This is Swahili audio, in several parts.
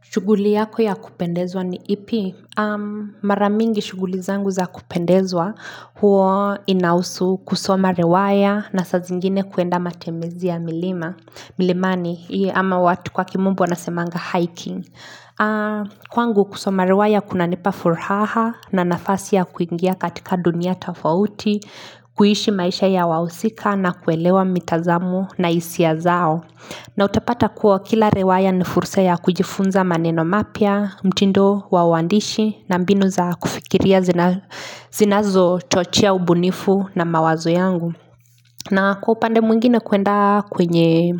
Shughuli yako ya kupendezwa ni ipi? Mara mingi shughuli zangu za kupendezwa huwa inahusu kusoma riwaya na saa zingine kuenda matembezi ya milima milimani ama watu kwa kimombo anasemanga hiking. Kwangu kusoma riwaya kunanipa furaha na nafasi ya kuingia katika dunia tofauti, kuishi maisha ya wahusika na kuelewa mitazamo na hisia zao. Nautapata kuwa kila riwaya ni fulsa ya kujifunza maneno mapya, mtindo, wa waandishi na mbinu za kufikiria zinazochochea ubunifu na mawazo yangu. Na kwa upande mwingine kwenda kwenye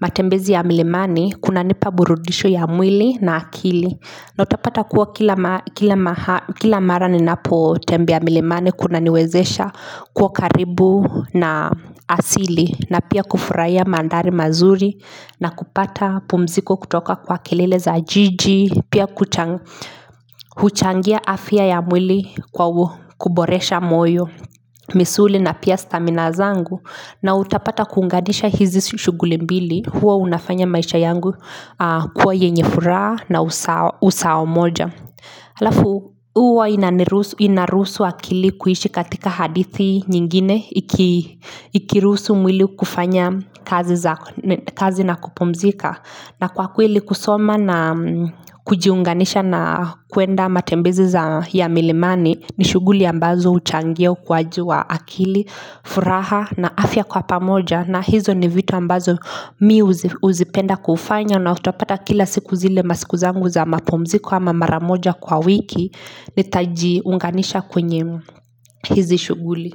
matembezi ya milimani, kunanipa burudisho ya mwili na akili. Na utapata kuwa kila kila mahali kila mara ninapotembea milimani kunaniwezesha kuwa karibu na asili na pia kufurahia mandhari mazuri na kupata pumziko kutoka kwa kelele za jiji Pia huchangia afya ya mwili kwa kuboresha moyo misuli na pia stamina zangu na utapata kuunganisha hizi shughuli mbili huwa unafanya maisha yangu kuwa yenye furaha na usawa moja. Halafu huwa inaniruhu inaruhusu akili kuishi katika hadithi nyingine iki ikiruhusu mwili kufanya kazi za kazi na kupumzika. Na kwa kweli kusoma na kujiunganisha na kwenda matembezi za ya milimani ni shughuli ambazo huchangia ukuwaji wa akili, furaha na afya kwa pamoja na hizo ni vitu ambazo mimi huzipenda kufanya na utapata kila siku zile masiku zangu za mapumziko ama mara moja kwa wiki nitajiunganisha kwenye hizi shughuli.